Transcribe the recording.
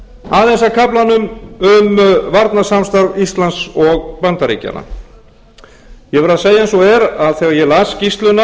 aðeins að kaflanum um varnarsamstarf íslands og bandaríkjanna ég verð að segja eins og er að þegar ég